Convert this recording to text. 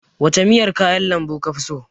Wace miyar kayan lambu kafi so?